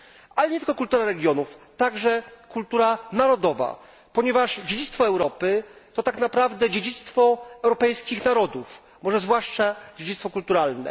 Ale nie tylko kultura regionów, także kultura narodowa, ponieważ dziedzictwo Europy, to tak naprawdę dziedzictwo europejskich narodów, może zwłaszcza dziedzictwo kulturalne.